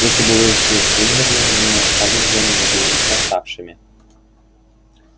если бы вы все вымерли мы остались бы наедине с восставшими